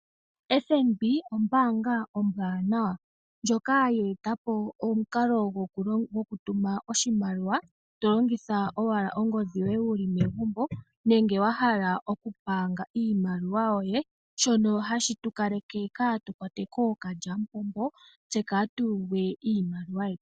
FNB ombaanga ombwaanawa . Oye etapo omukalo gokutuma oshimaliwa tolongitha owala ongodhi yoye wuli megumbo nenge wahala okumbaanga megumbo. Oshili hashi tukaleke kokule nookalyamupombo, kaatu yugwe iimaliwa yetu.